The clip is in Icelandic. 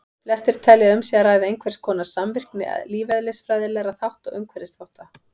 Flestir telja að um sé að ræða einhverskonar samvirkni lífeðlisfræðilegra þátta og umhverfisþátta.